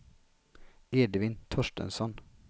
Edvin Torstensson